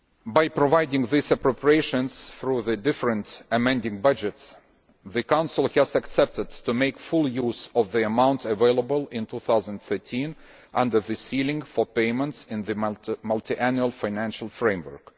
By providing these appropriations through the different amending budgets, the Council has agreed to make full use of the amount available in 2013 under the ceiling for repayments in the multiannual financial framework.